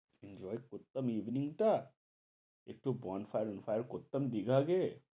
enjoy করতাম evening টা একটু বন fire fire করতাম বিয়ের আগে